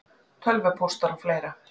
Tölvupóstar og fleira?